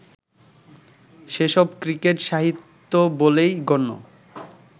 সেসব ক্রিকেট-সাহিত্য বলেই গণ্য